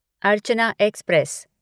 Archana express